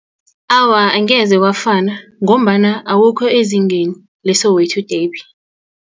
Awa, angeze wafana ngombana awukho ezingeni le-Soweto Derby.